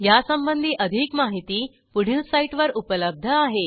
यासंबंधी अधिक माहिती पुढील साईटवर उपलब्ध आहे